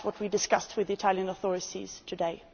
That is what we discussed with the Italian authorities today.